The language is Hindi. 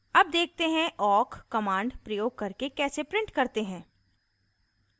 awk देखते हैं awk command प्रयोग करके कैसे print करते हैं